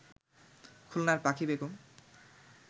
খুলনার পাখি বেগম